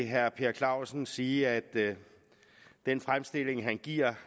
herre per clausen sige at den fremstilling han giver